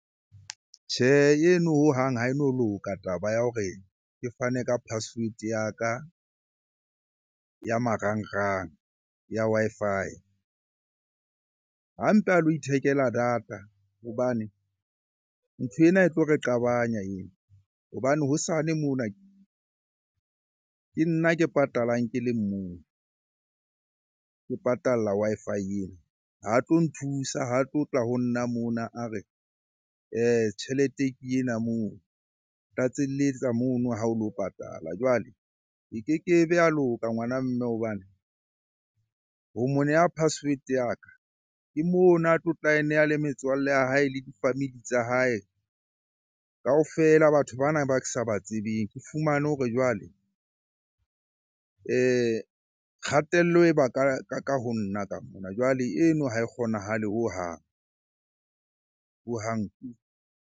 Tjhe, eno hohang ha e no loka taba ya hore ke fane ka password ya ka ya marangrang ya Wi-Fi. Ha mpe a lo ithekela data hobane nthwena e tlo re qabanya eno hobane hosane mona ke nna ke patalang ke le mong, ke patalla Wi-Fi ena. Ha tlo nthusa, ha tlotla ho nna mona a re, tjhelete ke ena moo. Tlatselletsa mono ha o lo patala. Jwale e keke be ya loka ngwana mme hobane ho mo neha password ya ka, ke mona a tlotla ae neha le metswalle ya hae le di-family tsa hae, kaofela batho bana ba ke sa ba tsebeng. Ke fumane hore jwale kgatello e ba ka ho nna ka mona. Jwale eno ha e kgonahale hohang. Hohang .